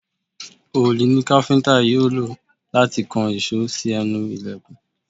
Òòlù ni káfíntà yóò lò láti kan ìṣó sí ẹnu ìlẹ̀kùn.